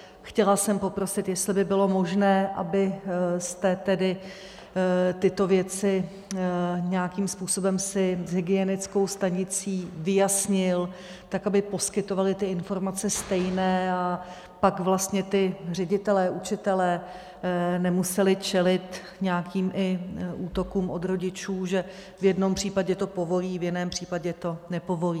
Chtěla jsem poprosit, jestli by bylo možné, abyste tedy tyto věci nějakým způsobem si s hygienickou stanicí vyjasnil tak, aby poskytovali ty informace stejné a pak vlastně ti ředitelé, učitelé nemuseli čelit nějakým i útokům od rodičů, že v jednom případě to povolí, v jiném případě to nepovolí.